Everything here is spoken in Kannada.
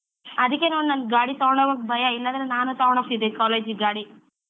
ಅದ್ಕೆ ನೋಡ್ ನಂಗ್ ಗಾಡಿ ತಗೊಂಡ್ ಹೋಗೋಕ್ ಭಯ ಇಲ್ಲಾದ್ರೆ ನಾನು ತಗೊಂಡ್ ಹೋಗ್ತಿದೆ college ಗ್ ಗಾಡಿ?